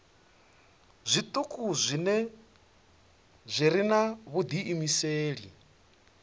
zwituku zwi re na vhudiimeseli